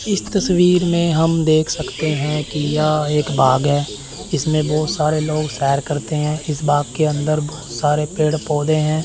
इस तस्वीर में हम देख सकते हैं कि यह एक बाग है इसमें बहुत सारे लोग सैर करते हैं इस बाग के अंदर बहुत सारे पेड़ पौधे हैं।